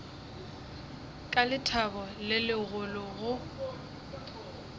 ka lethabo le legolo go